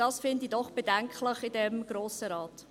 Das finde ich doch bedenklich in diesem Grossen Rat.